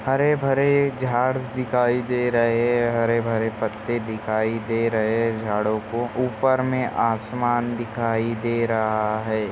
हरे भरे झाड़ दिखाई दे रहे है हरे भरे पत्ते दिखाई दे रहे है झाड़ों को ऊपर मे आसमान दिखाई दे रहा है।